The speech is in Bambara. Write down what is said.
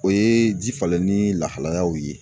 O ye ji falenni lahalayaw ye.